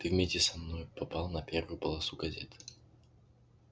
ты вместе со мной попал на первую полосу газеты